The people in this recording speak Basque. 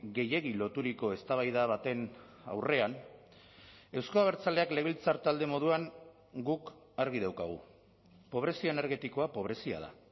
gehiegi loturiko eztabaida baten aurrean euzko abertzaleak legebiltzar talde moduan guk argi daukagu pobrezia energetikoa pobrezia da